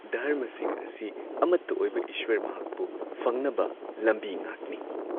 ꯙꯔꯃꯁꯤꯡ ꯑꯁꯤ ꯑꯃꯠꯇ ꯑꯣꯏꯕ ꯏꯁ꯭ꯋꯔ ꯃꯍꯥꯛꯄꯨ ꯐꯪꯅꯕ ꯂꯝꯕꯤ ꯉꯥꯛꯅꯤ ꯫